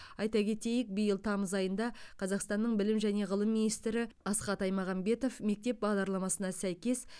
айта кетейік биыл тамыз айында қазақстанның білім және ғылым министрі асхат аймағамбетов мектеп бағдарламасына сәйкес